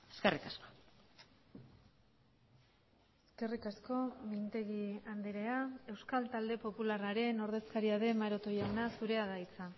eskerrik asko eskerrik asko mintegi andrea euskal talde popularraren ordezkaria den maroto jauna zurea da hitza